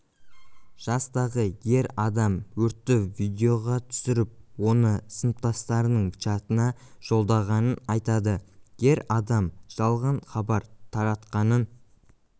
жастағы ер адам өртті видеоға түсіріп оны сыныптастарының чатына жолдағанын айтады ер адам жалған хабар таратқанын